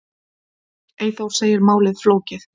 Eyþór segir málið flókið.